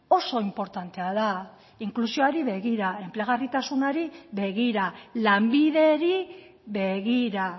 oso inportantea da inklusioari begira enplegarritasunari begira lanbideri begira